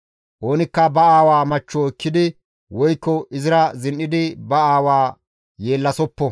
Oonikka ba aawa machcho ekkidi woykko izira zin7idi ba aawa yeellasoppo.